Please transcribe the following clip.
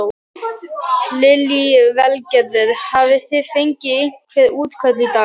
Lillý Valgerður: Hafi þið fengið einhver útköll í dag?